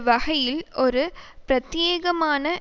வகையில் ஒரு பிரத்தியேகமான